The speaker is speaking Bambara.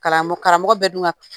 Kalan karamɔgɔ bɛ dun ka